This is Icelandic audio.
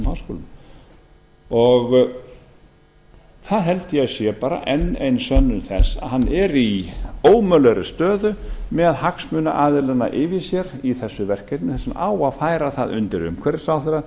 bandarísku háskólum það held ég að sé bara enn ein sönnun þess að hann er í ómögulegri stöðu með hagsmunaaðilana yfir sér í þessu verkefni þess vegna á að færa það undir umhverfisráðherra